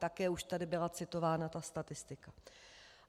Také již tady byla citována ta statistika.